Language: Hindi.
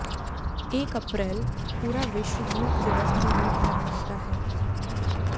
एक अप्रैल पूरा विश्व मूर्ख दिवस के रूप मनाते है